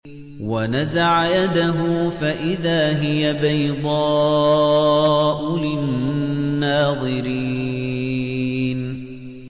وَنَزَعَ يَدَهُ فَإِذَا هِيَ بَيْضَاءُ لِلنَّاظِرِينَ